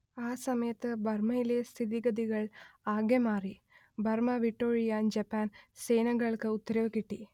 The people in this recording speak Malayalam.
ആ സമയത്ത് ബർമ്മയിലെ സ്ഥിതിഗതികൾ ആകെ മാറി ബർമ്മ വിട്ടൊഴിയാൻ ജപ്പാൻ സേനകൾക്ക് ഉത്തരവ് കിട്ടി